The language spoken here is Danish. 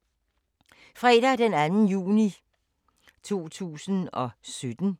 Fredag d. 2. juni 2017